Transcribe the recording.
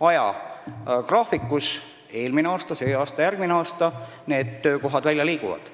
ajagraafiku järgi, st eelmine aasta, see aasta, järgmine aasta – töökohad pealinnast välja liiguvad.